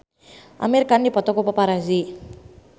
Amir Khan dipoto ku paparazi